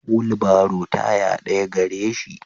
Wulbaro taya daya gareshi.